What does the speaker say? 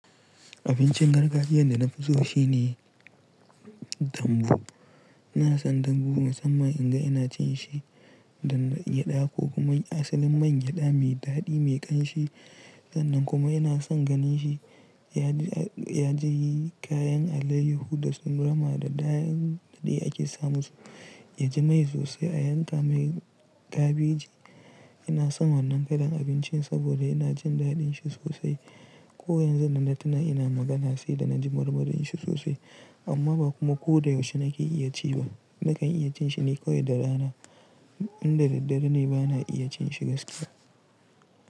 Abincin gargajiyan da na fi so shine dambu. Ina son dambu musamman in ga ina cin shi, da man gyada ko kuma asalin man gyada mai daɗi mai ƙanshi. Sannan kuma ina son ganin shi ya ji kayan alayyihu da su rama da kayan dade ake samu su, ya ji mai sosai a yanka mai kabeji. Ina son wannan kalan abincin saboda ina jin daɗin shi sosai. Ko yanzu nan da tuna ina magana sai da na ji marmarin shi sosai. Amma ba kuma ko da yaushe nake iya ci ba. Nakan iya cin shi ne kawai da rana. Inda daddare ne ba na iya cin shi gaskiya.